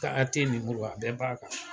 a bɛɛ b'a kan